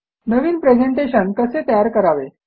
नवीन presentation कसे तयार करावे